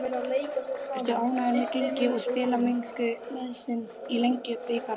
Ertu ánægður með gengi og spilamennsku liðsins í Lengjubikarnum?